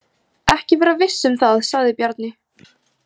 Ekki vera viss um það, sagði Bjarni.